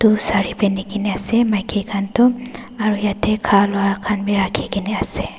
itu saree pindikena ase maike khan toh aro yeti khalua bi rakhigena ase.